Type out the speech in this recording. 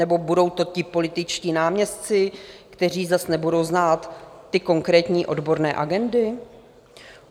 Nebo budou to ti političtí náměstci, kteří zas nebudou znát ty konkrétní odborné agendy?